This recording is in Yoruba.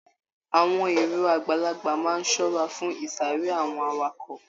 Àwọn èrò àgbàlagbà máa n ṣọra fún isare àwọn awakọ̀.